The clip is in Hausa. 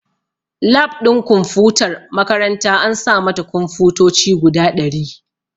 Lab ɗin kumfutar makaranta an sa mata kunfotoci guda ɗari